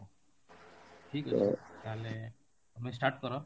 ଠିକ ଅଛି ତାହେଲେ ତମେ start କର